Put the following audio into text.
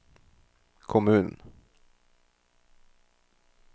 kommunen